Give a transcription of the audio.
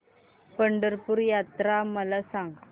पंढरपूर यात्रा मला सांग